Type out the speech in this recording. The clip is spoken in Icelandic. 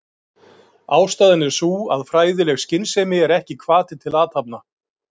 Ástæðan er sú að fræðileg skynsemi er ekki hvati til athafna.